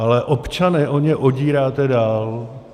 Ale občany o ně odíráte dál.